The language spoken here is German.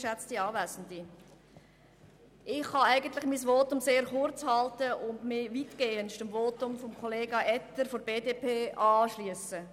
Ich kann mein Votum sehr kurz halten und mich weitestgehend dem Votum von Kollega Etter von der BDP anschliessen.